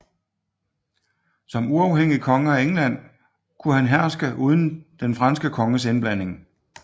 Som uafhængig konge af England kunne han herske uden de franske konges indblanding